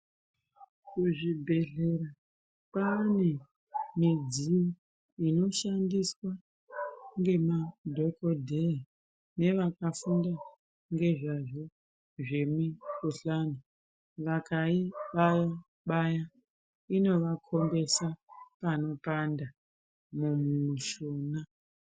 Kuzvibhedhlera kwaane midziyo inoshandiswa ngemadhokodheya nevakafunda ngezvazvo, zvemikhuhlani, vakaibaya-baya, inovakhombesa panopanda mumishuna.